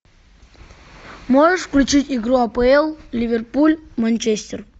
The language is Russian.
можешь включить игру апл ливерпуль манчестер